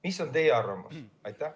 Mis on teie arvamus?